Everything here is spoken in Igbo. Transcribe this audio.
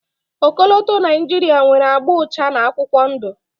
Ọkọlọtọ Naijiria nwere agba ụcha na akwụkwọ ndụ.